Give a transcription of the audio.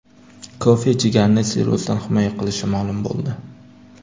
Kofe jigarni sirrozdan himoya qilishi ma’lum bo‘ldi.